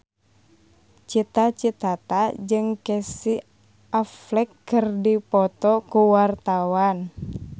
Cita Citata jeung Casey Affleck keur dipoto ku wartawan